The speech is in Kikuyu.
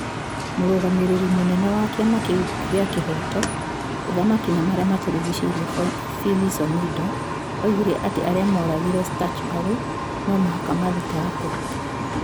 Mũrũgamĩrĩri mũnene wa kĩama kĩu kĩa kihoto, uthamaki na ma rĩa ma tũ rigicĩ-ire Phyllis Omido, oigire atĩ arĩa moragĩre Stuchburry no mũhaka ma thitagwo.